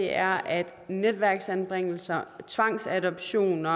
er at netværksanbringelser tvangsadoption og